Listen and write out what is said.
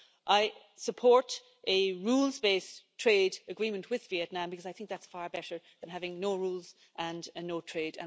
So I support a rules based trade agreement with Vietnam because I think that's far better than having no rules and no trade.